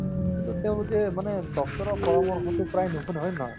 কিন্তু তেওঁলোকে মানে doctor ৰৰ পৰামৰ্শটো প্ৰায় নুশুনে হয় নে নহয়